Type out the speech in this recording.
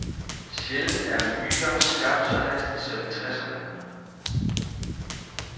Sjældent er myter skabt så hastigt som i tresserne.